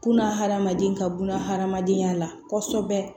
Kunna hadamaden ka buna hadamadenya la kɔsɔbɛ